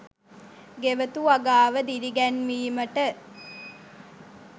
ගෙවතු වගාව දිරිගැන්වීමට